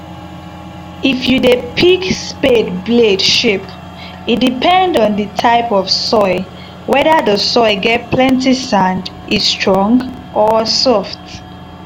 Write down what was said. if you dey pick spade blade shape e depend on the type of soil weather the soil get plenty sand e strong or soft.